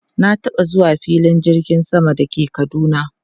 Na taba zuwa filin jirgin sama da ke Kaduna.